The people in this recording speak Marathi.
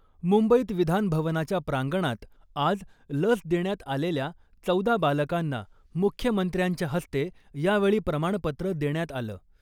मुंबईत विधानभवनाच्या प्रांगणात आज , लस देण्यात आलेल्या चौदा बालकांना मुख्यमंत्र्यांच्या हस्ते यावेळी प्रमाणपत्र देण्यात आलं.